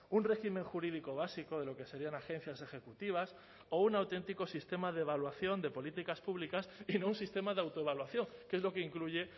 un régimen jurídico básico de lo que serían agencias ejecutivas o un auténtico sistema de evaluación de políticas públicas y no un sistema de autoevaluación que es lo que incluye